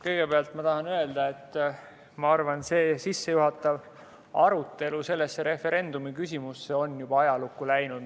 Kõigepealt tahan öelda, et ma arvan, selle referendumiküsimuse sissejuhatav arutelu on juba ajalukku läinud.